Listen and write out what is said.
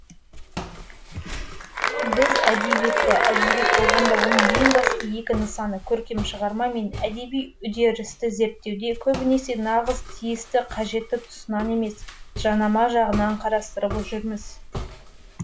біз әдебиетті әдебиет болғанда оның ең басты екі нысаны көркем шығарма мен әдеби үдерісті зерттеуде көбінесе нағыз тиісті қажетті тұсынан емес жанама жағынан қарастырып жүрміз